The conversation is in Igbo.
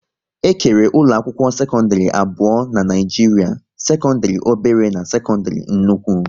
E kere ụlọ akwụkwọ sekọndrị abụọ n'Naijiria: sekọndrị obere na sekọndrị nnukwu